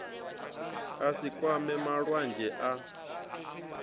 a si kwame mulwadze a